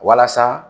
Walasa